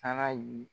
Taara ye